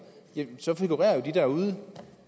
figurerer de jo derude